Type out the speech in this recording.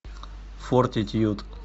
фортитьюд